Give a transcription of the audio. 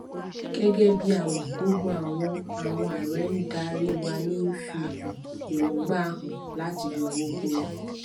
gẹgẹ bí a mọ gbogbo àwọn àwọn ààrẹ ń darí wani fi um èròngbà hàn láti yọ owó kúrò